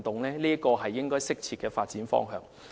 這是適切的發展方向。